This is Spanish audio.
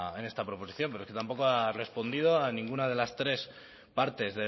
en esta proposición pero es que tampoco has respondido a ninguna de las tres partes